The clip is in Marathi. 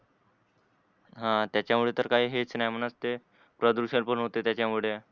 ह त्याच्या मुळे हे काही हेच नाही म्हणा प्रदूषण पण होते त्याच्या मुळे